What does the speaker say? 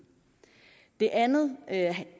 det andet